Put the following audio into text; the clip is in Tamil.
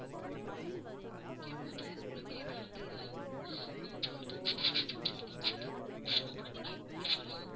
okay ma'am வேற உங்களுக்கு ஏதாவது problems system problems ஏதாவது இருந்துச்சுனா கூட நீங்க எங்க கிட்ட சொல்லலாம்.